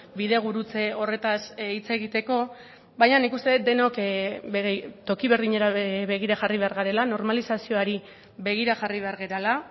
bidegurutze horretaz hitz egiteko baina nik uste dut denok toki berdinera begira jarri behar garela normalizazioari begira jarri behar garela